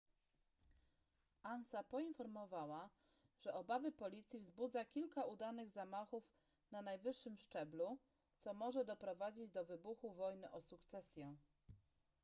ansa poinformowała że obawy policji wzbudza kilka udanych zamachów na najwyższym szczeblu co może doprowadzić do wybuchu wojny o sukcesję